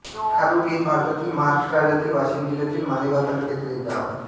खारोडी हे भारतातील महाराष्ट्र राज्यातील वाशिम जिल्ह्यातील मालेगाव तालुक्यातील एक गाव आहे